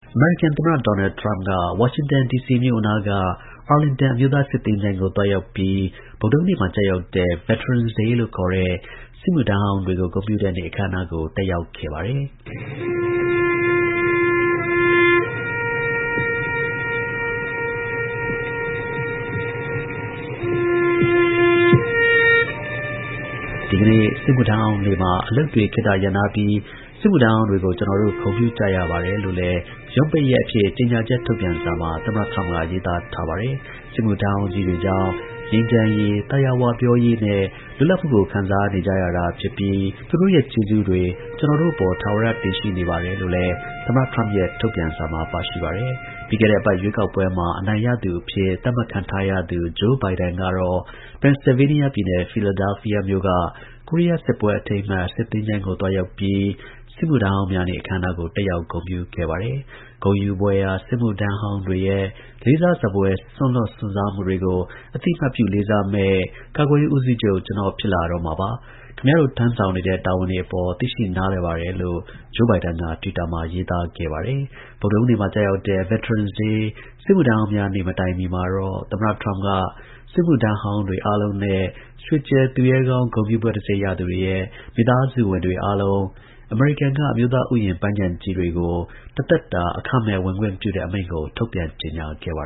အမေရိကန်သမ္မတ ဒေါ်နယ်ထရမ့်က ဝါရှင်တန်ဒီစီမြို့အနားက Arlington အမျိုးသား စစ်သင်္ချိုင်းကို သွားရောက်ပြီး ဗုဒ္ဓဟူးနေ့မှာ ကျရောက်တဲ့ Veterans Day လို့ ခေါ်တဲ့ စစ်မှုထမ်းဟောင်းတွေကို ဂုဏ်ပြုတဲ့နေ့အခမ်းအနားကို တက်ရောက်ခဲ့ပါတယ်။ ဒီကနေ့ စစ်မှုထမ်းဟောင်းနေ့မှာ အလုပ်တွေ ခေတ္တရပ်နားပြီး စစ်မှုထမ်းဟောင်းတွေကို ကျွန်တော်တို့ ဂုဏ်ပြု ကြရပါတယ်လို့လည်း ရုံးပိတ်ရက်အဖြစ် ကြေညာချက် ထုတ်ပြန်စာမှာ သမ္မတ ထရမ့်က ရေးသားထားပါတယ်။ စစ်မှုထမ်းဟောင်းကြီးတွေကြောင့် ငြိမ်းချမ်းရေး၊ သာယာဝပြောရေးနဲ့ လွတ်လပ်မှုကို ခံစားနေကြရတာ ဖြစ်ပြီး သူတို့ ရဲ့ ကျေးဇူးတွေ ကျွန်တော်တို့အပေါ် ထာဝရ တင်ရှိနေပါတယ်လို့လည်း သမ္မတ ထရမ့်ရဲ့ ထုတ်ပြန်စာမှာ ပါရှိပါတယ်။ ပြီးခဲ့တဲ့ အပတ် ရွေးကောက်ပွဲမှာ အနိုင်ရသူအဖြစ် သတ်မှတ်ခံထားရသူ Joe Biden ကတော့ ပန်ဆဲလ်ဗေးနီးယားပြည်နယ်၊Philadelphia မြို့က ကိုရီးယား စစ်ပွဲ အထိမ်းအမှတ် စစ်သင်္ချိုင်းကို သွားရောက်ပြီး စစ်မှုထမ်းဟောင်းများနေ့ အခမ်းအနားကို တက်ရောက် ဂုဏ်ပြု ခဲ့ပါတယ်။ ဂုဏ်ယူဖွယ်ရာ စစ်မှုထမ်းဟောင်းတွေရဲ့ လေးစားစဖွယ် စွန့်လွှတ်စွန့်စားမှုတွေကို အသိအမှတ်ပြု လေးစားမယ့် ကာကွယ်ရေး ဦးစီးချုပ် ကျွန်တော်ဖြစ်လာတော့မှာပါ။ ခင်ဗျားတို့ ထမ်းဆောင်နေတဲ့ တာဝန်တွေအပေါ် သိရှိနားလည်ပါတယ်လို့ Joe Biden က တွစ်တာမှာ ရေးသား ခဲ့ပါတယ်။ ဗုဒ္ဓဟူးနေ့မှာ ကျရောက်တဲ့ Veterans Day စစ်မှုထမ်းဟောင်းများ နေ့ မတိုင်မီမှာတော့ သမ္မတ ထရမ့်က စစ်မှုထမ်းတွေ အားလုံးနဲ့ ရွှေကြယ်သူရဲကောင်းဂုဏ်ပြုဘွဲ့တံဆိပ်ရသူတွေရဲ့မိသားစုတွေ အားလုံးအမေရိကန်က အမျိုးသားဥယျာဉ်ပန်းခြံကြီးတွေကို တစ်သက် တာ အခမဲ့ ဝင်ခွင့်ပြု တဲ့ အမိန့်ကို ထုတ်ပြန်ကြေညာခဲ့ပါ